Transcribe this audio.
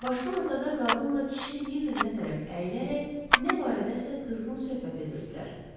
Başqa masada qadınla kişi bir-birinə tərəf əyilərək nə barədəsə qızğın söhbət edirdilər.